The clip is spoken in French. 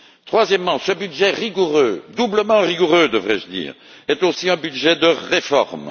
Troisièmement, ce budget rigoureux, doublement rigoureux, devrais je dire, est aussi un budget de réformes.